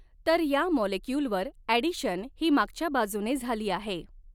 तर या मॉलेक्युलवर ॲडिशन ही मागच्या बाजूने झाली आहे.